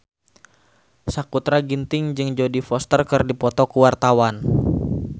Sakutra Ginting jeung Jodie Foster keur dipoto ku wartawan